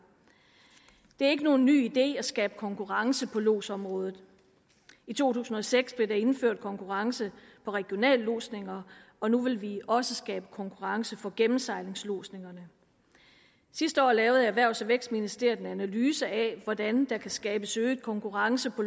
det er ikke nogen ny idé at skabe konkurrence på lodsområdet i to tusind og seks blev der indført konkurrence på regionallodsninger og nu vil vi også skabe konkurrence for gennemsejlingslodsningerne sidste år lavede erhvervs og vækstministeriet en analyse af hvordan der kan skabes øget konkurrence på